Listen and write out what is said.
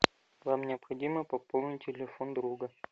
нам необходимо пополнить телефон друга